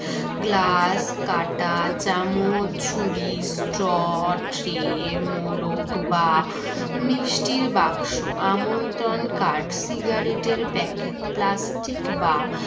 glass কাঁটা চামচ ছুরি straw tray মোড়ক বা মিষ্টির বাক্স আমন্ত্রণ কাঠ ciggerette এর packet plastic বা